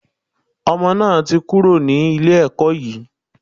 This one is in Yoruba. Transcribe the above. Ọmọ náà ti kúrò ní ilé ẹkọ́ yìí.